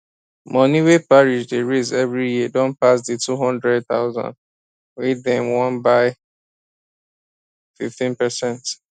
money wey parish dey raise every year don pass the two hundred thousand wey dem want by fifteen percent